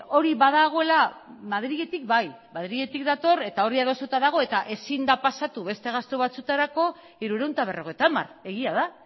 hori badagoela madriletik bai madriletik dator eta hori adostuta dago eta ezin da pasatu beste gastu batzuetarako hirurehun eta berrogeita hamar egia da